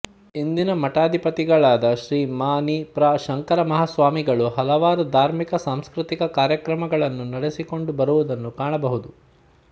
ಇಂದಿನ ಮಠಾಧಿಪತಿಗಳಾದ ಶ್ರೀ ಮ ನಿ ಪ್ರ ಶಂಕರ ಮಹಾಸ್ವಾಮಿಗಳು ಹಲವಾರು ಧಾರ್ಮಿಕ ಸಾಂಸ್ಕೃತಿಕ ಕಾರ್ಯಕ್ರಮಗಳನ್ನು ನಡೆಸಿಕೊಂಡು ಬರುವುದನ್ನು ಕಾಣಬಹುದು